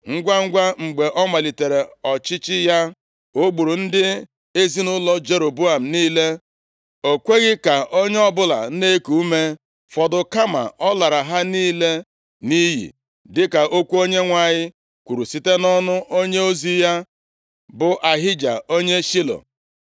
Ngwangwa, mgbe ọ malitere ọchịchị ya, o gburu ndị ezinaụlọ Jeroboam niile. O kweghị ka onye ọbụla na-eku ume fọdụ, kama ọ lara ha niile nʼiyi, dịka okwu Onyenwe anyị kwuru site nʼọnụ onyeozi ya, bụ Ahija onye Shilo.